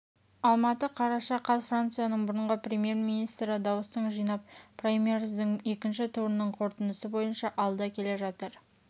алматы қараша қаз францияның бұрынғы премьер-министрі дауыстың жинап праймериздің екінші турының қорытындысы бойынша алда келе жатыр